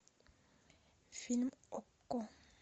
фильм окко